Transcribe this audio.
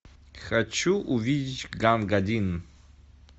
хочу увидеть ганг один